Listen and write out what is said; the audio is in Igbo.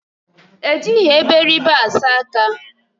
Ejighị eberibe asa aka